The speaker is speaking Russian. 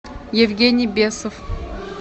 евгений бесов